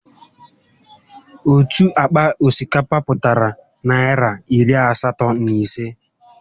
Otu àkpà osikapa pụtara Naịra iri asatọ na ịse